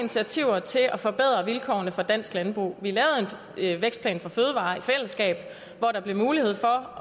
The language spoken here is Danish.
initiativer til at forbedre vilkårene for dansk landbrug vi lavet en vækstplan for fødevarer i fællesskab hvor der blev mulighed for